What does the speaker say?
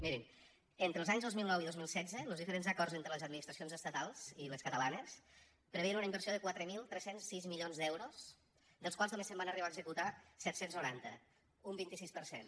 mirin entre els anys dos mil nou i dos mil setze los diferents acords entre les administracions estatals i les catalanes preveien una inversió de quatre mil tres cents i sis milions d’euros dels quals només se’n van arribar a executar set cents i noranta un vint sis per cent